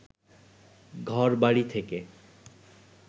ঘরবাড়ি থেকে